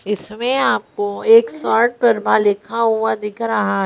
इसमें आपको एक शॉर्ट परमा लिखा हुआ दिख रहा है।